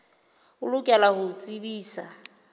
o lokela ho o tsebisa